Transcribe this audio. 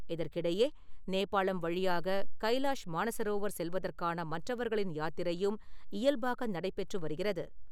இதற்கிடையே நேபாளம் வழியாக கைலாஷ் மானசரோவர் செல்வதற்கான மற்றவர்களின் யாத்திரையும் இயல்பாக நடைபெற்று வருகிறது.